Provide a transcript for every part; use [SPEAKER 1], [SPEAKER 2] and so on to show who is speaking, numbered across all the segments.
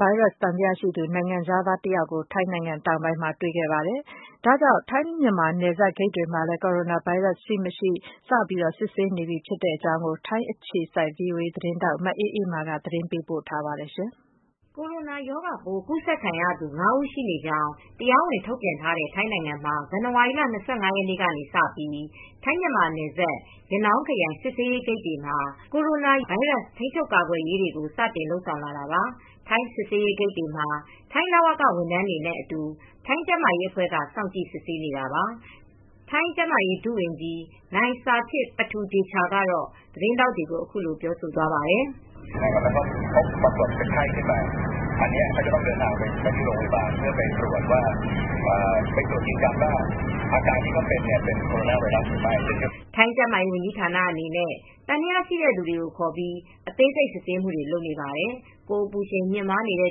[SPEAKER 1] ဗိုင်းရပ်စ် သံသယရှိသူ နိုင်ငံခြားသားတဦး ထိုင်းတောင်ပိုင်းမှာ တွေ့ရှိပြီးနောက် ထိုင်း-မြန်မာနယ်စပ် တနင်္သာရီတိုင်း ကော့သောင်းမြို့တဖက်ကမ်း ရနောင်းခရိုင် နယ်စပ်ဂိတ်တွေမှာ Corona ဗိုင်းရပ်စ် ရှိမရှိ စစ်ဆေးမှုလုပ်ငန်းတွေကို ထိုင်းနိုင်ငံဘက်က စတင်လုပ်ဆောင်လာပါတယ်။ အပြည့်အစုံကို ဗွီအိုအေ မြန်မာပိုင်းသတင်းထောက် မအေးအေးမာ တင်ပြပေးထားပါတယ်။ Corona ရောဂါပိုး ကူးစက်ခံရသူ ၅ ဦးရှိနေကြောင်း တရားဝင် ထုတ်ပြန်ထားတဲ့ ထိုင်းနိုင်ငံမှာ ဇန်နဝါရီလ ၂၅ ရက်နေ့ကစပြီး ထိုင်း-မြန်မာနယ်စပ် ရနောင်းခရိုင် စစ်ဆေးရေးဂိတ်တွေမှာ Corona ဗိုင်းရပ်စ် ထိန်းချုပ်ကာကွယ်ရေးတွေကို စတင်လုပ်ဆောင်လာတာပါ။ ထိုင်းစစ်ဆေးရေးဂိတ်တွေမှာ ထိုင်းလဝက ဝန်ထမ်းတွေနဲ့အတူ ထိုင်းကျန်းမာရေးအဖွဲ့က စောင့်ကြည့်စစ်ဆေးနေတာပါ။ ထိုင်းကျန်းမာရေး ဒုဝန်ကြီး နိုင်ဆာထစ်ပတူဒေချာကတော့ သတင်းထောက်တွေကို အခုလို ပြောသွားပါတယ်။ “ထိုင်းကျန်းမာရေးဝန်ကြီးဌာန အနေနဲ့ သံသယရှိတဲ့လူတွေကို ခေါ်ပြီး အသေးစိတ် စစ်ဆေးမှုတွေ လုပ်နေပါတယ်။ ကိုယ်အပူချိန် မြင့်တက်နေတဲ့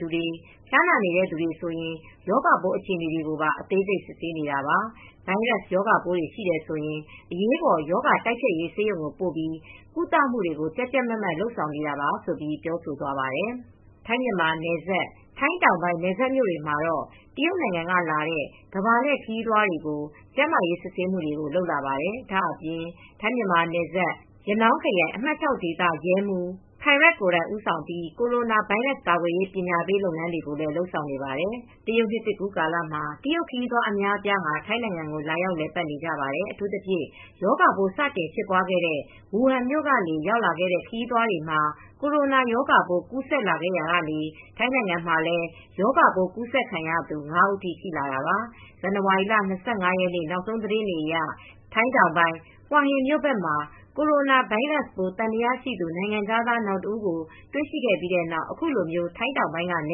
[SPEAKER 1] သူ၊ ဖျားနာနေတဲ့သူ ဆိုရင် ရောဂါပိုးအခြေအနေကို အသေးစိတ် စစ်ဆေးနေတာပါ။ ဗိုင်းရပ်စ်ရောဂါပိုးတွေ ရှိတယ်ဆိုရင် အရေးပေါ် ရောဂါတိုက်ဖျက်ရေး ဆေးရုံကိုပို့ပြီး ကုသမှုတွေကို ကြပ်ကြပ်မတ်မတ် လုပ်ဆောင်နေပါတယ်။” ထိုင်း-မြန်မာနယ်စပ် ထိုင်းတောင်ပိုင်း နယ်စပ်မြို့တွေမှာတော့ တရုတ်နိုင်ငံကလာတဲ့ ကမ္ဘာလှည့်ခရီးသွားတွေကို ကျန်းမာရေးစစ်ဆေးမှုတွေ လုပ်လာပါတယ်။ ဒါ့အပြင် ထိုင်း-မြန်မာနယ်စပ်မှာ ရနောင်းခရိုင် အမှတ် ၆ ဒေသရဲမှူး Phairat Phukcharoen ကိုယ်တိုင် ဦးဆောင်ပြီး Corona ဗိုင်းရပ်စ် ကာကွယ်ရေး ပညာပေးလုပ်ငန်းတွေကို လုပ်ဆောင်နေပါတယ်။ တရုတ်နှစ်သစ်ကူးကာလမှာ တရုတ်ခရီးသွား အများအပြား ထိုင်းနိုင်ငံကို လာရောက် လည်ပတ်နေကြပါတယ်။ အထူးသဖြင့် ရောဂါပိုး စတင်ဖြစ်ပွားခဲ့တဲ့ ဝူဟန်မြို့ကနေ ရောက်လာတဲ့ ခရီးသွားတွေမှာ Corona ရောဂါပိုး ကူးဆက်လာရာကနေ ထိုင်းနိုင်ငံမှာလည်း ရောဂါပိုး ကူးစက်ခံရသူ ၅ ဦးထိ ရှိလာတာပါ။ ဇန်နဝါရီလ ၂၅ ရက်နေ့ နောက်ဆုံးသတင်းတွေအရ ထိုင်းတောင်ပိုင်း ဟွာဟင်မြို့ဘက်မှာ Corona ဗိုင်းရပ်စ်ပိုး သံသယရှိသူ နိုင်ငံခြားသား နောက်တဦး တွေ့ရှိခဲ့ပြီးတဲ့နောက် အခုလို ထိုင်းတောင်ပိုင်းက န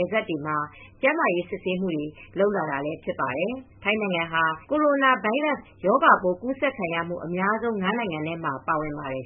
[SPEAKER 1] ယ်စပ်တွေမှာ ကျန်းမာရေးစစ်ဆေးမှုတွေ လုပ်လာတာဖြစ်ပါတယ်။ ထိုင်းနိုင်ငံဟာ Corona ဗိုင်းရပ်စ်ရောဂါပိုး ကူးဆက်ခံရမှု အများဆုံး ၅ နိုင်ငံမှာ ပါဝင်ပါတယ်